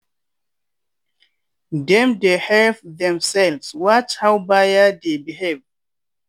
dem dey help themselves watch how buyer dey behave.